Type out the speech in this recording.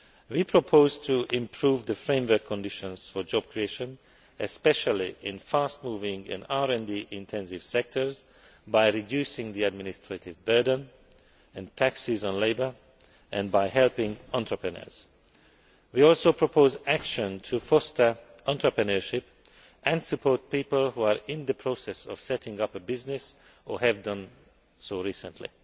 We propose to improve the framework conditions for job creation, especially in fast moving and RD intensive sectors, by reducing the administrative burden and taxes on labour, and by helping entrepreneurs. We also propose action to foster entrepreneurship and support people who are in the process of setting up a business or have done so recently.